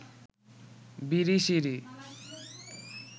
Birishiri